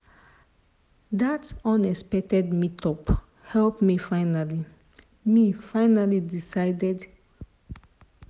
that unexpected meetup help me finally me finally decide to take the next big step.